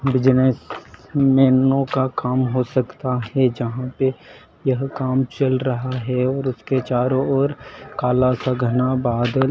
business menu का काम हो सकता है जहां ओपी यह काम चल रहा है और उसके चारों ओर काला सा घना बादल--